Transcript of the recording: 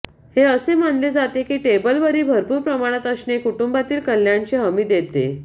हे असे मानले जाते की टेबलवरील भरपूर प्रमाणात असणे कुटुंबातील कल्याणची हमी देते